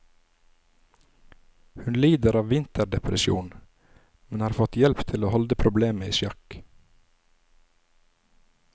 Hun lider av vinterdepresjon, men har fått hjelp til å holde problemet i sjakk.